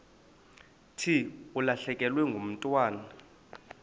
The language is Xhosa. thi ulahlekelwe ngumntwana